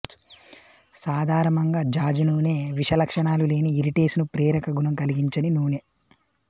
సాధారమంగా జాజి నూనె విష లక్షణాలు లేని ఇరిటేసను ప్రేరక గుణం కల్గించని నూనె